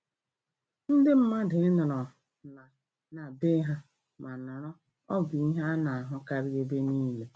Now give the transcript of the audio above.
Ndị mmadụ ị nọrọ na na bee ha ma nọrọ ọ bụ ihe ana-ahụkarị ebe niile.